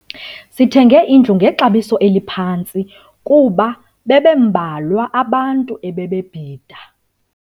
Sithenge indlu ngexabiso eliphantsi kuba bebembalwa abantu ebebebhida.